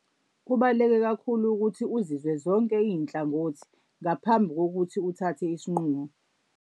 Kubaluleke kakhulu ukuthi uzizwe zonke iy'nhlangothi ngaphambi kokuthi uthathe isinqumo.